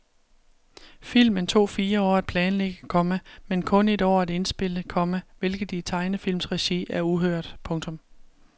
Filmen tog fire år at planlægge, komma men kun et år at indspille, komma hvilket i tegnefilmsregi er uhørt. punktum